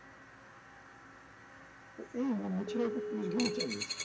তো এই মনে হচ্ছিল যে পুলিশ গুলি চালিয়েছে